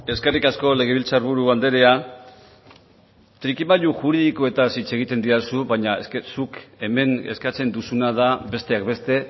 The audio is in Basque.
eskerrik asko legebiltzarburu andrea trikimailu juridikoetaz hitz egiten didazu baina es que zuk hemen eskatzen duzuna da besteak beste